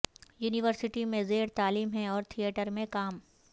university میں زیر تعلیم ہے اور تھیٹر میں کام